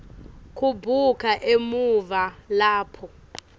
kubuka emuva lapho